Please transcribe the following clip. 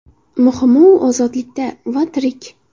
Muhimi u ozodlikda va tirik.